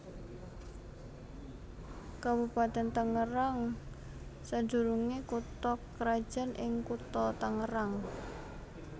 Kabupatèn Tangerang sadurungé kutha krajan ing Kutha Tangerang